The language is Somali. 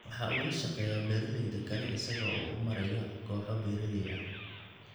Waxa uu la shaqeeyaa beeralayda kale isaga oo u maraya kooxo beeralay ah.